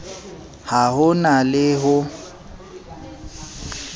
ha ho na le ho